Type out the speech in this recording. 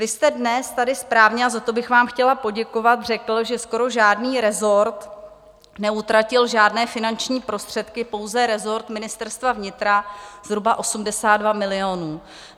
Vy jste dnes tady správně, a za to bych vám chtěla poděkovat, řekl, že skoro žádný resort neutratil žádné finanční prostředky, pouze resort Ministerstva vnitra zhruba 82 milionů.